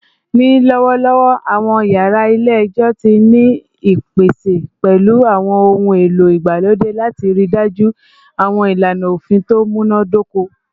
Ni lọwọlọwọ, awọn yara ile-ẹjọ ti ni ipese pẹlu awọn ohun elo igbalode lati rii daju awọn ilana ofin to munadoko